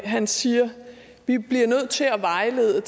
han siger at vi bliver nødt til at vejlede